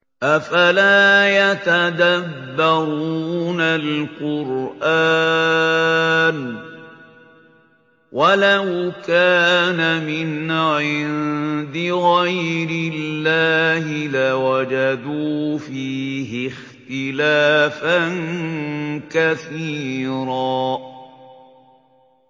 أَفَلَا يَتَدَبَّرُونَ الْقُرْآنَ ۚ وَلَوْ كَانَ مِنْ عِندِ غَيْرِ اللَّهِ لَوَجَدُوا فِيهِ اخْتِلَافًا كَثِيرًا